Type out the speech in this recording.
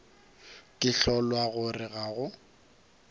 ke kgolwa gore ga go